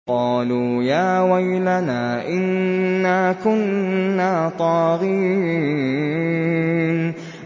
قَالُوا يَا وَيْلَنَا إِنَّا كُنَّا طَاغِينَ